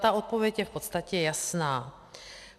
Ta odpověď je v podstatě jasná.